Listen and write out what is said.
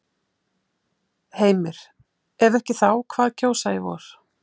Heimir: Ef ekki þá hvað kjósa í vor?